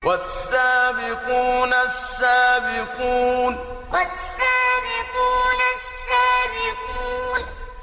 وَالسَّابِقُونَ السَّابِقُونَ وَالسَّابِقُونَ السَّابِقُونَ